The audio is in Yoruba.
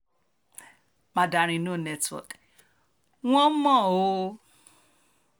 mandarin no network wọ́n mọ̀ ọ́n um o